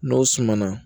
N'o sumana